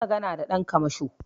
Kayi magana da ɗan kamasho